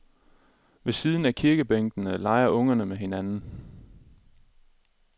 Ved siden af kirkebænkene leger ungerne med hinanden.